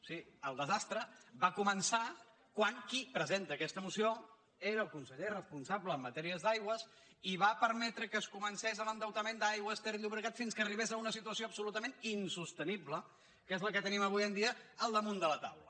sí el desastre va començar quan qui presenta aquesta moció era el conseller responsable en matèria d’aigües i va permetre que comencés l’endeutament d’aigües ter llobregat fins que arribés a una situació absolutament insostenible que és la que tenim avui en dia al damunt de la taula